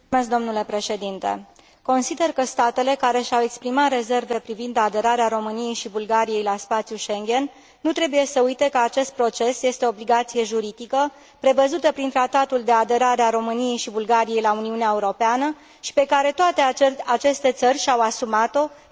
Consider că statele care și au exprimat rezerve privind aderarea României și Bulgariei la spațiul Schengen nu trebuie să uite că acest proces este o obligație juridică prevăzută prin Tratatul de aderare a României și Bulgariei la Uniunea Europeană și pe care toate aceste țări și au asumat o prin semnarea tratatului.